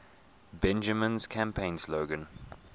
bingaman's campaign slogan